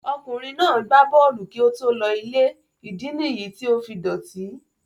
Ọkùnrin náà gbá bọ́ọ̀lù kí ó tó lọ ilé, ìdí nì yìí tí ó fi dọ̀tí.